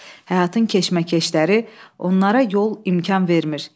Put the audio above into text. Həyatın keşməkeşləri onlara yol imkan vermir.